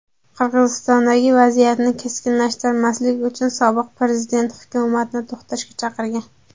Qirg‘izistondagi vaziyatni keskinlashtirmaslik uchun sobiq prezident hukumatni to‘xtashga chaqirgan.